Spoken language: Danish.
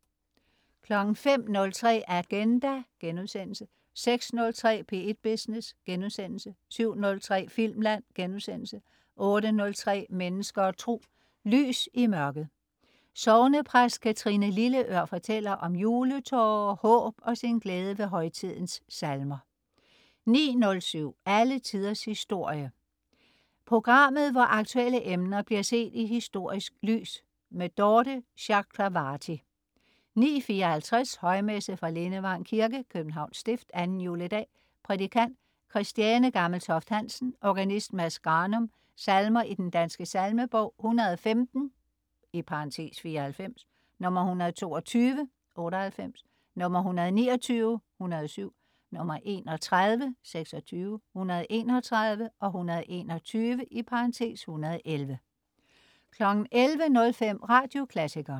05.03 Agenda* 06.03 P1 Business* 07.03 Filmland* 08.03 Mennesker og Tro. Lys i mørket. Sognepræst Kathrine Lilleør fortæller om juletårer, håb og sin glæde ved højtidens salmer 09.07 Alle Tiders Historie. Programmet, hvor aktuelle emner bliver set i historisk lys. Dorthe Chakravarty 09.54 Højmesse. Fra Lindevang kirke (Københavns stift). Anden juledag. Prædikant: Christiane Gammeltoft-Hansen. Organist: Mads Granum. Salmer i Den Danske Salmebog: 115 (94), 122 (98), 129 (107), 31 (26), 131, 121 (111) 11.05 Radioklassikeren